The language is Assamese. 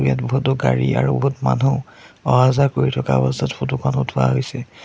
ইয়াত বহুতো গাড়ী আৰু বহুত মানুহ অহা যোৱা কৰি থকা অৱস্থাত ফটো খন উঠোৱা হৈছে।